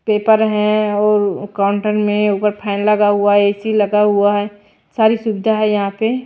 Paper है और counter में ऊपर फैन लगा हुआ है ए_सी लगा हुआ है सारी सुविधा है यहां पे।